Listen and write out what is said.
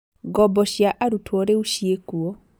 Ngombo cia arutwo rĩu ciĩkuo